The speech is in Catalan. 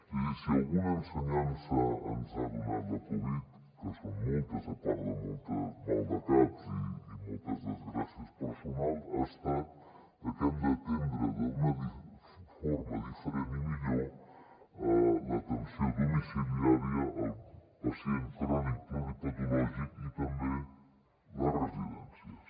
és a dir si alguna ensenyança ens ha donat la covid que són moltes a part de molts maldecaps i moltes desgràcies personals ha estat que hem d’atendre d’una forma diferent i millor l’atenció domiciliària el pacient crònic pluripatològic i també les residències